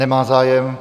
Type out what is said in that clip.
Nemá zájem.